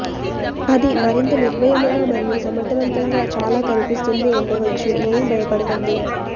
అది మరింత నిర్భయముగా మరియు సమర్ధవంతంగా చాలా కనిపిస్తుంది ఉండవచ్చు ఏమి బయపడకండి